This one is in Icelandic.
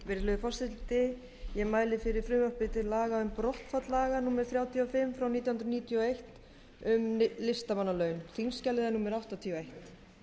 virðulegi forseti ég mæli fyrir frumvarpi til laga um brottfall laga númer þrjátíu og fimm nítján hundruð níutíu og eitt um listamannalaun þingskjalið er númer áttatíu og eitt